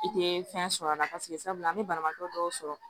I tɛ fɛn sɔrɔ a la paseke sabula an bɛ banabaatɔ dɔw sɔrɔ